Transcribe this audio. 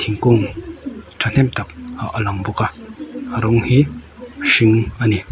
thingkung thahnem tak ah a lang bawk a a rawng hi hring a ni.